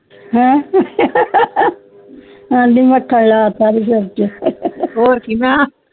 ਹੈ ਐਂਡੀ ਮੱਖਣ ਲੈ ਦਾ ਓਦੇ ਸਿਰ ਛੇ ਹੋਰ ਕਿ ਮੈ